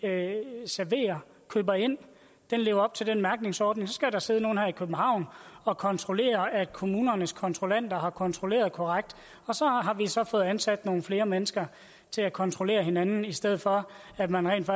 serverer køber ind lever op til den mærkningsordning så skal der sidde nogle her i københavn og kontrollere at kommunernes kontrollanter har kontrolleret korrekt og så har vi så fået ansat nogle flere mennesker til at kontrollere hinanden i stedet for at man rent